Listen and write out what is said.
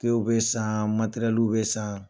Tew bɛ san matɛrɛliw bɛ san.